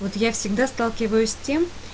вот я всегда сталкиваюсь с тем